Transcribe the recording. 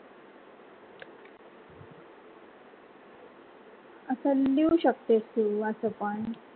अस लिहू शकतेस तू असा पण.